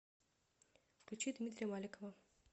включи дмитрия маликова